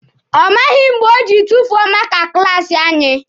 Ọ maghị mgbe o jiri tufuo maaka klaasi anyị.